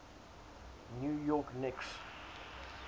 new york knicks